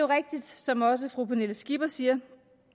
rigtigt som også fru pernille skipper siger